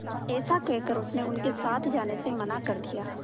ऐसा कहकर उसने उनके साथ जाने से मना कर दिया